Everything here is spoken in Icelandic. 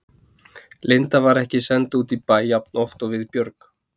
Linda var ekki send út í bæ jafnoft og við Björg.